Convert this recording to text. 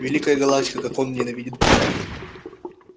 великая галактика как он ненавидит меня